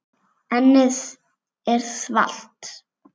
Ennið er þvalt.